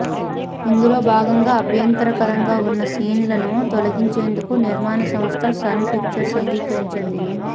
ఇందులో భాగంగా అభ్యంతరకరంగా ఉన్న సీన్లను తొలగించేందుకు నిర్మాణ సంస్థ సన్ పిక్చర్స్ అంగీకరించింది